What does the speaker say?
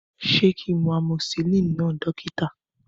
Ṣé kin mu amoxilin náà dókítà?